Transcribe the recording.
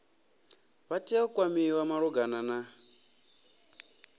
vha tea u kwamiwa malugana